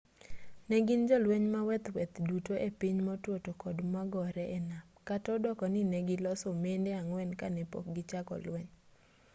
negin jolweny maweth maweth duto e piny motwo tokod magore e nam kata odoko ni negiloso mende ang'wen kanepok gichako lweny